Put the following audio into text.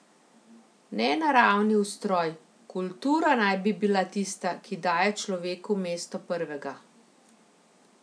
Ne naravni ustroj, kultura naj bi bila tista, ki daje človeku mesto prvega.